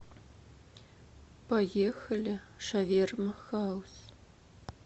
поехали шаверма хаус